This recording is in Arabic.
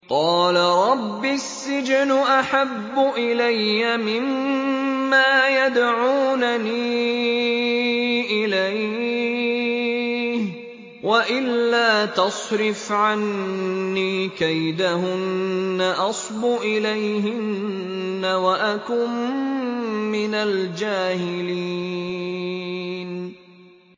قَالَ رَبِّ السِّجْنُ أَحَبُّ إِلَيَّ مِمَّا يَدْعُونَنِي إِلَيْهِ ۖ وَإِلَّا تَصْرِفْ عَنِّي كَيْدَهُنَّ أَصْبُ إِلَيْهِنَّ وَأَكُن مِّنَ الْجَاهِلِينَ